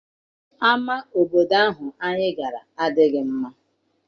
Ama obodo ahụ anyị gara amaghị mma.